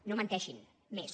no menteixin més